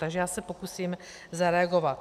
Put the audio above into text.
Takže já se pokusím zareagovat.